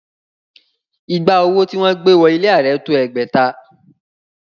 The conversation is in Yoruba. Ìgbà owó tí wọ́n gbé wọ ilé Ààrẹ tó ẹgbẹ̀ta